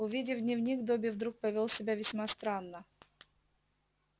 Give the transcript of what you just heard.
увидев дневник добби вдруг повёл себя весьма странно